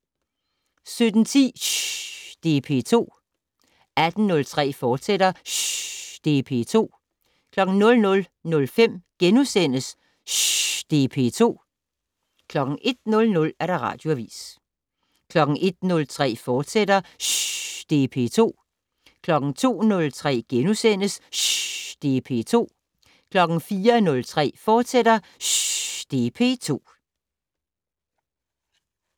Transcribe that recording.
17:10: Shhy det er P2 18:03: Shhy det er P2, fortsat 00:05: Shhy det er P2 * 01:00: Radioavis 01:03: Shhy det er P2, fortsat * 02:03: Shhy det er P2 * 04:03: Shhy det er P2, fortsat *